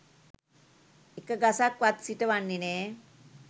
එක ගසක් වත් සිට වන්නේ නෑ